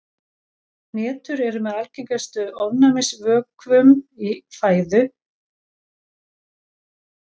Hnetur eru með algengustu ofnæmisvökum í fæðu og er jarðhnetan þeirra þekktust.